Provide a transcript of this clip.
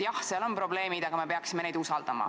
Jah, seal on probleemid, aga me peaksime neid usaldama.